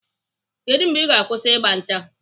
Kedụ mgbe Ị ga-akwụsị ịgba ncha?